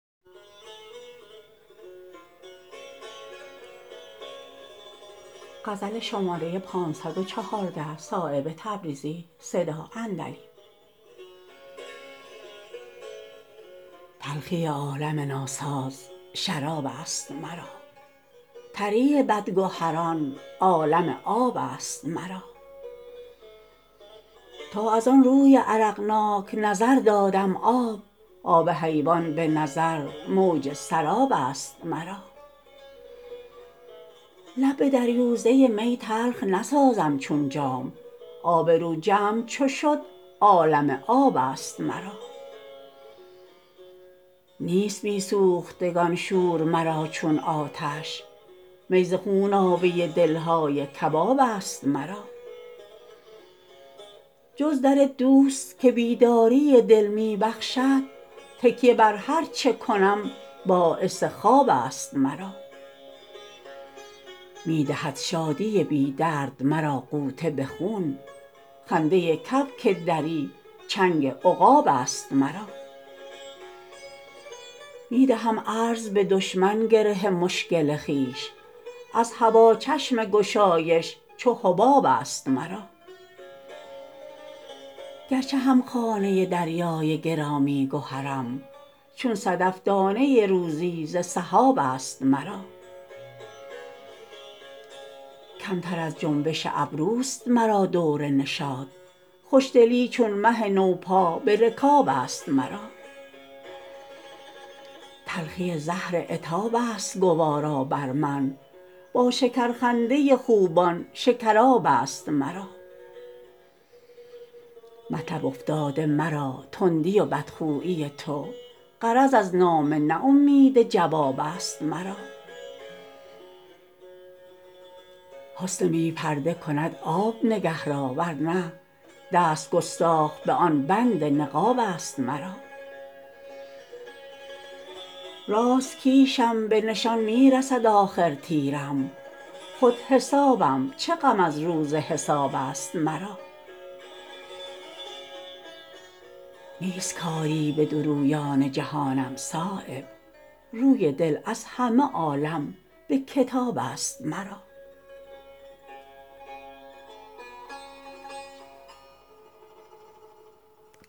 تلخی عالم ناساز شراب است مرا تری بدگهران عالم آب است مرا تا ازان روی عرقناک نظر دادم آب آب حیوان به نظر موج سراب است مرا لب به دریوزه می تلخ نسازم چون جام آبرو جمع چو شد عالم آب است مرا نیست بی سوختگان شور مرا چون آتش می ز خونابه دلهای کباب است مرا جز در دوست که بیداری دل می بخشد تکیه بر هر چه کنم باعث خواب است مرا می دهد شادی بی درد مرا غوطه به خون خنده کبک دری چنگ عقاب است مرا می دهم عرض به دشمن گره مشکل خویش از هوا چشم گشایش چو حباب است مرا گرچه همخانه دریای گرامی گهرم چون صدف دانه روزی ز سحاب است مرا کمتر از جنبش ابروست مرا دور نشاط خوشدلی چون مه نو پا به رکاب است مرا تلخی زهر عتاب است گوارا بر من با شکرخنده خوبان شکراب است مرا مطلب افتاده مرا تندی و بدخویی تو غرض از نامه نه امید جواب است مرا حسن بی پرده کند آب نگه را ورنه دست گستاخ به آن بند نقاب است مرا راست کیشم به نشان می رسد آخر تیرم خود حسابم چه غم از روز حساب است مرا نیست کاری به بد و نیک جهانم صایب روی دل از همه عالم به کتاب است مرا